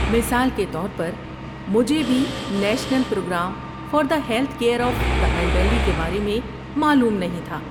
مثال کے طور پر، مجھے بھی national programme for the health care of the elderly کے بارے میں معلوم نہیں تھا۔